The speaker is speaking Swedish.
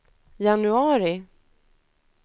januari